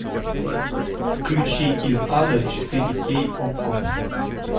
включи из ада четыре кей окко